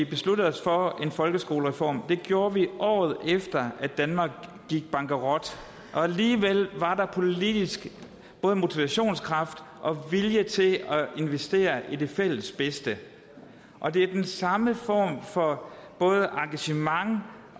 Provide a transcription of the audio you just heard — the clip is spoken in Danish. besluttede os for en folkeskolereform det gjorde vi året efter at danmark gik bankerot og alligevel var der politisk både motivationskraft og vilje til at investere i det fælles bedste og det er den samme form for både engagement